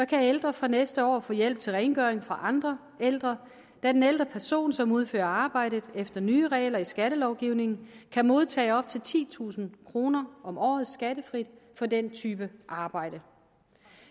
kan ældre fra næste år få hjælp til rengøring fra andre ældre da den ældre person som udfører arbejdet efter nye regler i skattelovgivningen kan modtage op til titusind kroner om året skattefrit for den type arbejde